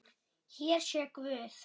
Hér sé guð!